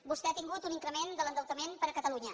vostè ha tingut un increment de l’endeutament per a catalunya